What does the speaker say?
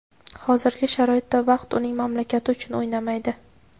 hozirgi sharoitda vaqt uning mamlakati uchun o‘ynamaydi.